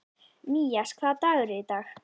Mías, hvaða dagur er í dag?